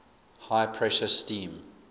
high pressure steam